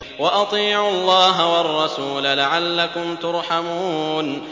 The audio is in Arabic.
وَأَطِيعُوا اللَّهَ وَالرَّسُولَ لَعَلَّكُمْ تُرْحَمُونَ